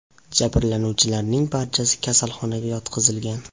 Jabrlanuvchilarning barchasi kasalxonaga yotqizilgan.